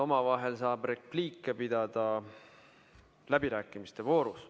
Omavahel saab repliike vahetada läbirääkimiste voorus.